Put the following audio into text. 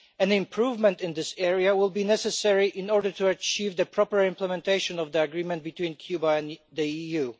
An improvement in this area will be necessary in order to achieve the proper implementation of the agreement between Cuba and the EU.